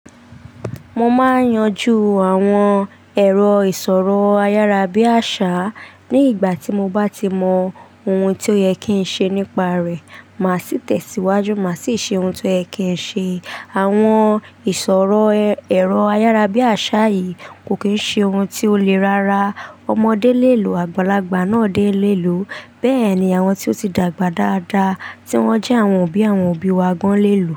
Mo máa yanjú àwọn èrò ìṣòro ayárábiàṣá ní ìgbà tí mo bá ti mọ ohun tí ó yẹ kí n ṣe nípa rẹ̀. Màá sì tẹ̀síwájú, màá sì ṣe ohun to yẹ kì ń ṣe. Àwọn ìṣòro, èrò ayárábiàṣá yìí kò kí ń ṣe ohun tí ó le rára. Ọmọdé lè lo àgbàlagbà náà dé lè lo. Bẹ́ẹ̀ ni àwọn tí ó ti dàgbà dáadáa tí wọ́n jẹ́ àwọn òbí àwọn òbí wa gan lé lo.